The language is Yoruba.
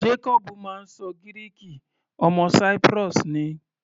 Jacobu máa ń ṣọ Gíríìkì, ọmọ Cyprus ni.